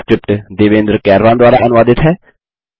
यह स्क्रिप्ट देवेन्द्र कैरवान द्वारा अनुवादित है